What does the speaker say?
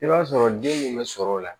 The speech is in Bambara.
I b'a sɔrɔ den bɛ sɔrɔ o la